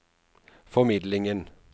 formidlingen